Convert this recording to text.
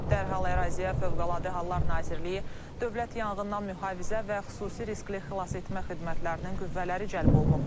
Dərhal əraziyə Fövqəladə Hallar Nazirliyi Dövlət Yanğından Mühafizə və Xüsusi Riskli Xilasetmə xidmətlərinin qüvvələri cəlb olunub.